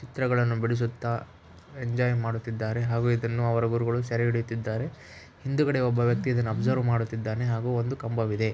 ಚಿತ್ರಗಳನ್ನು ಬಿಡಿಸುತ್ತಾ ಎಂಜಾಯ್‌ ಮಾಡುತ್ತಿದ್ದಾರೆ ಹಾಗೂ ಇದನ್ನು ಅವರ ಗುರುಗಳು ಸೆರೆ ಹಿಡಿಯುತ್ತಿದ್ದಾರೆ ಹಿಂದುಗಡೆ ಒಬ್ಬ ವ್ಯಕ್ತಿಯು ಇದನ್ನು ಅಬ್ಸರ್ವ ಮಾಡುತ್ತಿದ್ದಾನೆ ಹಾಗೂ ಒಂದು ಕಂಬವಿದೆ.